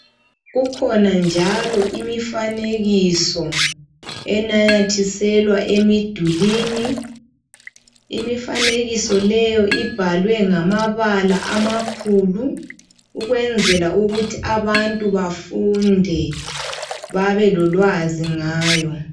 Kukhona njalo imifanekiso enamathiselwa emidulini imifanekiso leyo ibhalwe ngamabala amakhulu ukwenzela ukuthi abantu bafunde babe lolwazi ngayo.